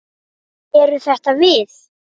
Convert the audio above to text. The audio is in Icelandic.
Eru þetta við?